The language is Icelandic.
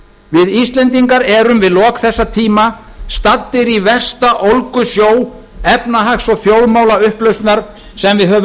við íslendingar erum í lok þessa tíma staddir í versta ólgusjó efnahags og þjóðmálaupplausnar sem við höfum